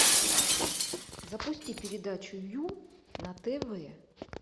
запусти передачу ю на тв